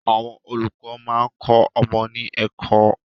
Àwọn olùkọ́ máa ń kọ ọmọ ní ẹ̀kọ́